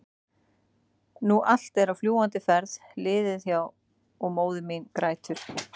nú allt er á fljúgandi ferð liðið hjá- og móðir mín grætur.